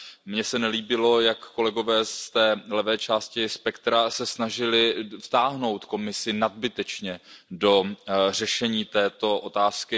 Mně se nelíbilo, jak kolegové z levé části spektra se snažili vtáhnout Komisi nadbytečně do řešení této otázky.